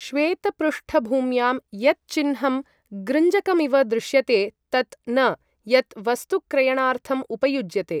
श्वेतपृष्ठभूम्यां यत् चिह्नं गृञ्जकमिव दृश्यते तत् न यत् वस्तुक्रयणार्थम् उपयुज्यते ।